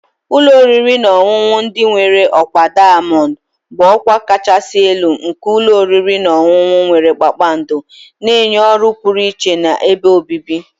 Ụlọ oriri na ọṅụṅụ ndị nwere ọkwa diamond bụ ọkwa kachasị elu nke ụlọ oriri na ọṅụṅụ nwere kpakpando, na-enye ọrụ pụrụ iche na ebe obibi.